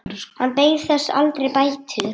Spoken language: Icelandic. Hann beið þess aldrei bætur.